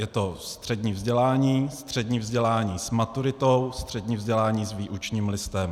Je to střední vzdělání, střední vzdělání s maturitou, střední vzdělání s výučním listem.